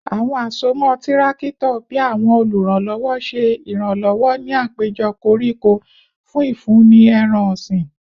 Awọn asomọ tirakito bii awọn oluranlọwọ ṣe iranlọwọ ni apejọ koriko fun ifunni ẹran-ọsin